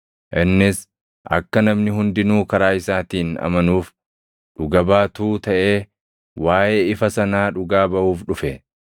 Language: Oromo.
Innis akka namni hundinuu karaa isaatiin amanuuf dhuga baatuu taʼee waaʼee ifa sanaa dhugaa baʼuuf dhufe.